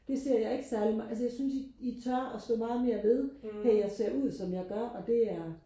det ser jeg ikke særlig altså jeg synes I tør og stå meget mere ved hey jeg ser ud som jeg gør og det er